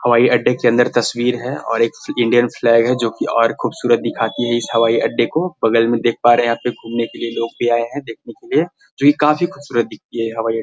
हवाई अड्डे के अंदर तस्वीर है और एक इंडियन फ्लैग है जो की और खूबसूरत दिखाती है इस हवाई अड्डे को बगल में देख पा रहे है यहां पे घूमने के लिए लोग भी आए है देखने के लिए जो ये काफी खूबसूरत दिखाती है हवाई अ --